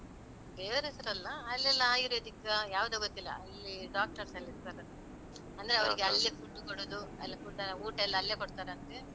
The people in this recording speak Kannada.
ದೇವರ್ ಹೆಸರಲ್ಲ, ಅಲ್ಲೆಲ್ಲ ayurvedic ಯಾವುದೋ ಗೊತ್ತಿಲ್ಲ. ಅಲ್ಲಿ Doctors ಎಲ್ಲ ಇರ್ತಾರ. ಅಂದ್ರೆ ಅವರಿಗೆ ಅಲ್ಲೇ ಫುಡ್ ಕೊಡೋದು, ಅಲ್ಲೇ food ಕೊಡುದು ಎಲ್ಲಾ food ಎಲ್ಲಾ ಊಟ ಎಲ್ಲ ಅಲ್ಲೇ ಕೊಡ್ತಾರಂತೆ.